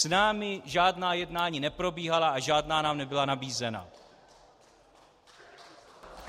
S námi žádná jednání neprobíhala a žádná nám nebyla nabízena.